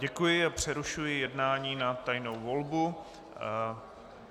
Děkuji a přerušuji jednání na tajnou volbu.